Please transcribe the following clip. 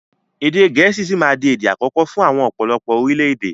Èdè gẹ̀ẹ́sì sì máa di èdè àkọ́kọ́ fún àwọn ọ̀pọ̀lọpọ̀ orílédé